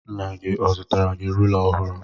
Nna gi ọ zụtara gi rula ọhụrụ?